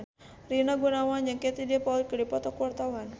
Rina Gunawan jeung Katie Dippold keur dipoto ku wartawan